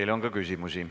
Teile on ka küsimusi.